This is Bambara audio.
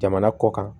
Jamana kɔ kan